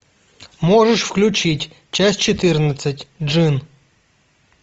можешь включить часть четырнадцать джинн